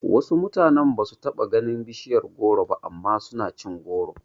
Wasu mutane basu taba ganin bishiyar goro ba amma suna cin goro